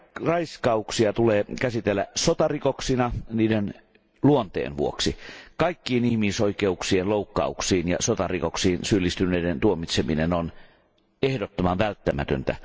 Raiskauksia tulee käsitellä sotarikoksina niiden luonteen vuoksi. Kaikkiin ihmisoikeuksien loukkauksiin ja sotarikoksiin syyllistyneiden tuomitseminen on ehdottoman välttämätöntä.